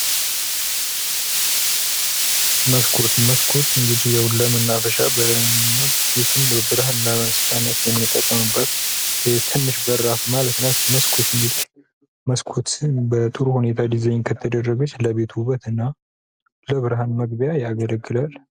መስኮት መስኮት እንግዲህ ለማናፈሻነት ቤቱን ብርሃነ ለመስጫነት የምንጠቀምበት ትንሽ በራፍ ማለት ናት::መስኮት እንግዲህ መስኮት በልዩ ሁኔታ ዲዛይን ከየደረገች ለቤት ዉበት እና ለብርሃን መግብያ ያገለግላል::